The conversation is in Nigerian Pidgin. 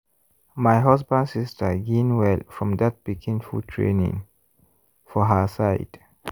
my husband sister gain well from that pikin food training for her side.